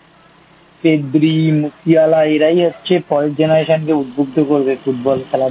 Pedri Musiala এরাই হচ্ছে পরের Generation কে উদ্বুদ্ধ করবে Football খেলা